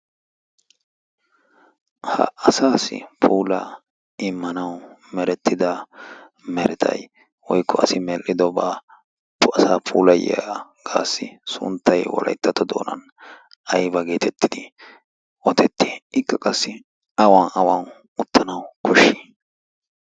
ha asaassi puulaa immanawu merettida meretai woikko asi medhdhidobaa asa pulayiyaagaassi sunttai walaittato doonan aiba geetettidi oodetti? ikka qassi awan awan uttanawu koshshii?